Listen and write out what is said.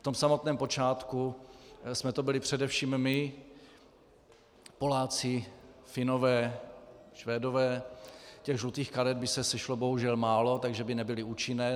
V tom samotném počátku jsme to byli především my, Poláci, Finové, Švédové - těch žlutých karet by se sešlo bohužel málo, takže by nebyly účinné.